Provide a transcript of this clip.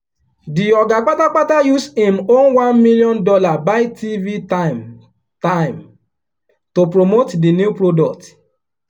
the oga patapata use him own one million dollar buy tv time time to promote the new product.